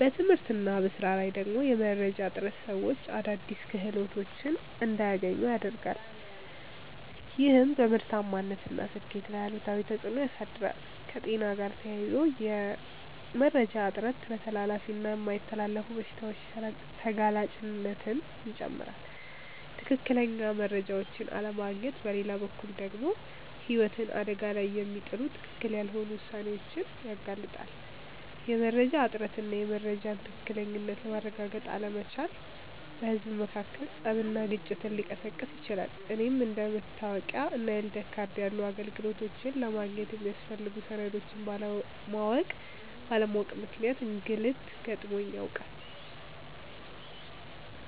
በትምህርት እና በሥራ ላይ ደግሞ የመረጃ እጥረት ሰዎች አዳዲስ እድሎች እንዳያገኙ ያረጋል፤ ይህም በምርታማነት እና ስኬት ላይ አሉታዊ ተፅእኖ ያሳድራል። ከጤና ጋር ተያይዞ የመረጃ እጥረት ለተላላፊ እና የማይተላለፉ በሽታዎች ተጋላጭነትን ይጨምራል። ትክክለኛ መረጃዎችን አለማግኘት በሌላ በኩል ደግሞ ህይወትን አደጋ ላይ የሚጥሉ ትክክል ያልሆኑ ውሳኔዎችን ያጋልጣል። የመረጃ እጥረት እና የመረጃን ትክክለኝነት ማረጋገጥ አለመቻል በህዝብ መካከል ፀብና ግጭትን ሊቀሰቅስ ይችላል። እኔም አንደ መታወቂያ እና የልደት ካርድ ያሉ አገልግሎቶችን ለማግኘት የሚያስፈልጉ ሰነዶችን ባለማወቅ ምክንያት እንግልት ገጥሞኝ ያውቃል።